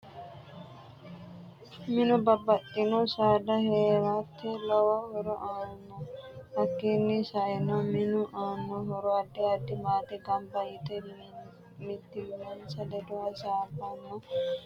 MInu babbaxotinno saada heerate lowo horo aano hakiini saenno minu aano horo addi addi maate ganbba yite miimitinsa ledo hasaabanno base ikkasi kulanno